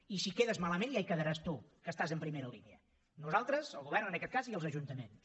i si quedes malament ja hi quedaràs tu que estàs en primera línia nosaltres el govern en aquest cas i els ajuntaments